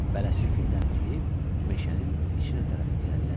Bələdçi fildən enib meşənin içinə tərəf irəlilədi.